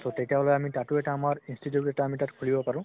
ত তেতিয়া হলে তাতো এটা আমাৰ institute এটা খুলিব পাৰো